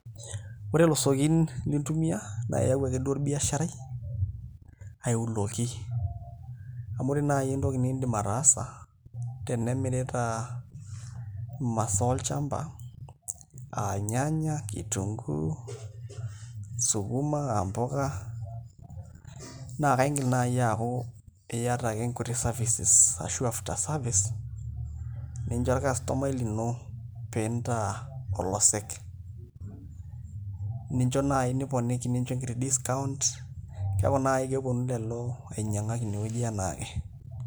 Ore ilosekin lintumiaa naa aiaku akeduo orbiasharai aiuloki amu ore naai tenimirita imasaa olchamba aa ilnyanya, kitunguu sukuma aa mpuka naa kaidim naai aaku iata nkuti services ashu after services pee incho orkastomai lino pee intaa olosek nincho naai niponiki nincho ekiti discount keeku naai keponu lelo ainyiang'ak ine enaake.